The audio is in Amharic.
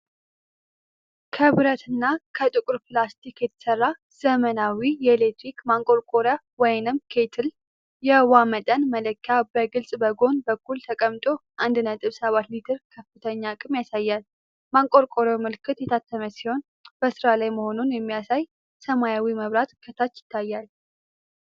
ከብረትና ከጥቁር ፕላስቲክ የተሰራ ዘመናዊ የኤሌክትሪክ ማንቆርቆሪያ (ኬትል)። የውኃ መጠን መለኪያ በግልጽ በጎን በኩል ተቀምጦ 1.7 ሊትር ከፍተኛ አቅም ያሳያል። ማንቆርቆሪያው ምልክት የታተመ ሲሆን፣ በሥራ ላይ መሆኑን የሚያሳይ ሰማያዊ መብራት ከታች ይታያል።